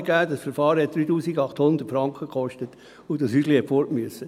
Es gab ein Verfahren, das 3800 Franken kostete, und das Häuschen musste weg.